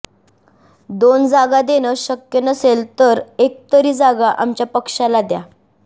दोन जागा देणं शक्य नसेल तर एक तरी जागा आमच्या पक्षाला द्या